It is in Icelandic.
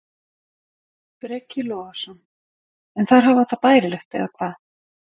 Breki Logason: En þær hafa það bærilegt eða hvað?